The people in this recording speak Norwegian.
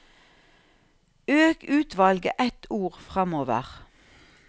Øk utvalget ett ord framover